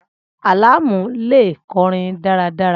Alamu le kọrin daradara